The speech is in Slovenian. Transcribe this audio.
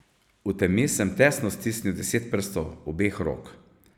V temi sem tesno stisnil deset prstov obeh rok.